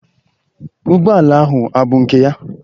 Ụgbọala ahụ abụ nke ya?